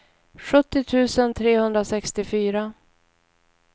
sjuttio tusen trehundrasextiofyra